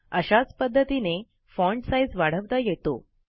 अशाच पध्दतीने font size वाढवता येतो